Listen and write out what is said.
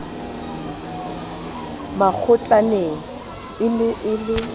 makgotlaneng e ne e le